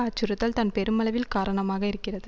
அச்சுறுத்தல் தான் பெருமளவில் காரணமாக இருக்கிறது